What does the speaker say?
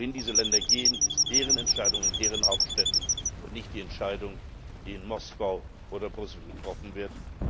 Wohin diese Länder gehen, ist deren Entscheidung in deren Hauptstädten und nicht die Entscheidung, die in Moskau oder Brüssel getroffen wird.